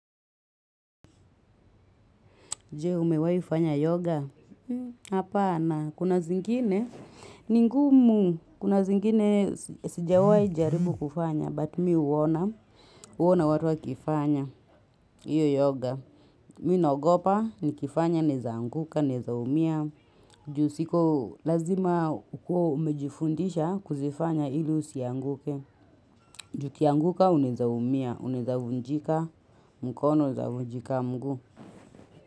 Jee, umewahi fanya yoga? Hapana, kuna zingine, ni ngumu, kuna zingine sijawai jaribu kufanya, but mimi huona, huona watu wa kifanya. Hiyo yoga. Mimi naogopa, nikifanya naweza anguka, naweza umia, juu siko lazima ukuwe umejifundisha kuzifanya ili usianguke. Juu, ukianguka unaweza umia, unaweza vunjika mkono, unaweza vunjika mguu.